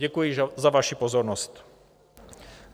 Děkuji za vaši pozornost.